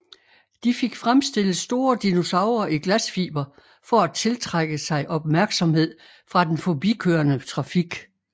De fik fremstillet store dinosaurer i glasfiber for at tiltrække sig opmærksomhed fra den forbikørende trafik